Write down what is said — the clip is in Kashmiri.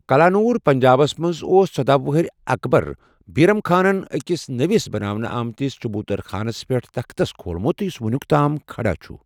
کلانور، پنجابس منٛزاوس ژۄداہ وُہُر اکبر بیرم خانن أکِس نٔوس بناونہٕ أمتس چبوتر خانَس پٮ۪ٹھ تختس کھولمُت، یُس وُنیُک تام کھڑا چھُ۔